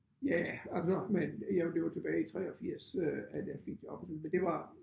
Ja altså men jeg det var tilbage i 83 øh at jeg fik jobbet men det var